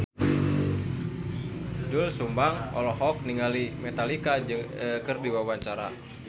Doel Sumbang olohok ningali Metallica keur diwawancara